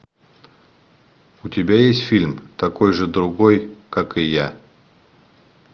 у тебя есть фильм такой же другой как и я